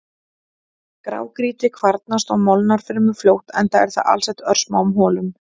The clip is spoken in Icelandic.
Grágrýti kvarnast og molnar fremur fljótt enda er það alsett örsmáum holum.